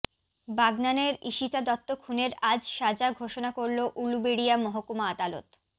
বাগনানের ঈশিতা দত্ত খুনের আজ সাজা ঘোষনা করল উলুবেড়িয়া মহকুমা আদালত